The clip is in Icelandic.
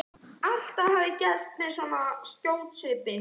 Allt hafi gerst með svo skjótri svipan.